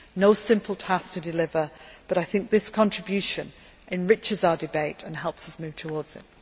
No simple task to deliver, but I think this contribution enriches our debate and helps us move towards achieving it.